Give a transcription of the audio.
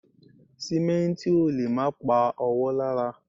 Sìmẹ́ǹtì ò lè má pa ọwọ́ lára